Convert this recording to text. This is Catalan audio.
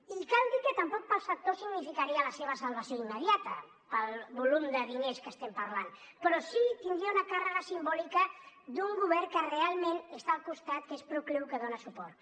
i cal dir que tampoc per al sector significaria la seva salvació immediata pel volum de diners de què estem parlant però sí que tindria una càrrega simbòlica d’un govern que realment està al seu costat que és procliu que els dona suport